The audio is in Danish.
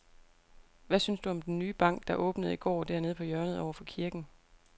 Hvad synes du om den nye bank, der åbnede i går dernede på hjørnet over for kirken?